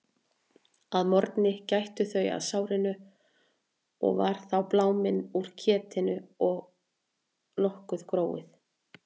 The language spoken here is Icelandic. Að morgni gættu þau að sárinu og var þá bláminn úr ketinu og nokkuð gróið.